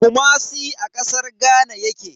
Kumasi a kasar Ghana yake.